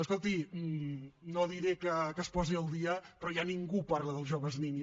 escolti no diré que es posi al dia però ja ningú parla dels joves ni nis